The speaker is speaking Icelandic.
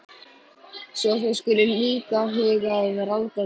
Svo þið skuluð líka huga að ráðgátu.